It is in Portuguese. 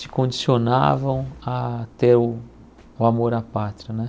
Te condicionavam a ter o amor à pátria, né?